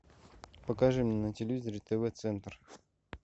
покажи мне на телевизоре тв центр